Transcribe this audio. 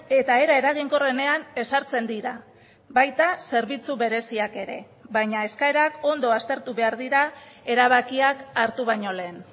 eta era eraginkorrenean ezartzen dira baita zerbitzu bereziak ere baina eskaerak ondo aztertu behar dira erabakiak hartu baino lehen